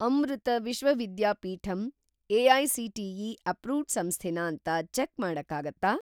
ಅಮೃತ Vishwa Vidyapeetham AICTE. Approved ಸಂಸ್ಥೆನಾ ಅಂತ check ಮಾಡಕ್ಕಾಗತ್ತಾ?